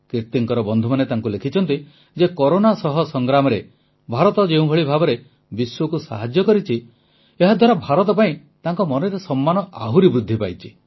କିର୍ତୀଙ୍କ ବନ୍ଧୁମାନେ ତାଙ୍କୁ ଲେଖିଛନ୍ତି ଯେ କରୋନା ସହ ସଂଗ୍ରାମରେ ଭାରତ ଯେଉଁଭଳି ଭାବରେ ବିଶ୍ୱକୁ ସାହାଯ୍ୟ କରିଛି ଏହାଦ୍ୱାରା ଭାରତ ପାଇଁ ତାଙ୍କ ମନରେ ସମ୍ମାନ ଆହୁରି ବୃଦ୍ଧି ପାଇଛି